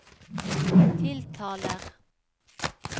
tiltaler